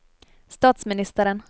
statsministeren